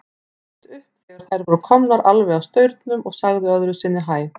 Hún leit upp þegar þær voru komnar alveg að staurnum og sagði öðru sinni hæ.